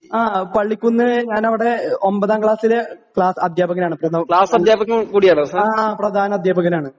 ആ പള്ളിക്കുന്ന് ഞാനവിടെ എഹ് ഒമ്പതാം ക്ലാസ്സിലെ ക്ലാസ് അധ്യാപകനാണ് പ്രധാ ആ പ്രധാനാധ്യാപകനാണ്.